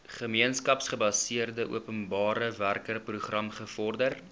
gemeenskapsgebaseerde openbarewerkeprogram bevorder